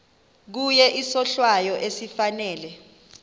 kuye isohlwayo esifanele